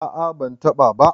a a bantaba ba